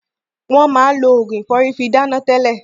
Wọn máa lo Ògùn ìfọ́rí fi dáná tẹlẹ.